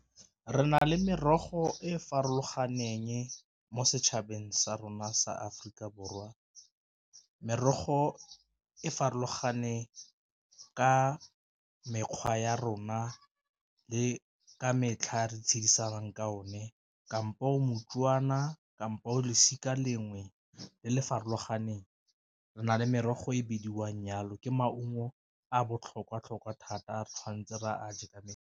Re na le merogo e e farologaneng mo setšhabeng sa rona sa Aforika Borwa, merogo e farologane ka mekgwa ya rona le ka metlha re tshegisang ka one kampo moTswana kampo o losika lengwe le le farologaneng, re na le merogo e bidiwang nyalo ke maungo a botlhokwa tlhokwa thata re tshwanetse re a je ka .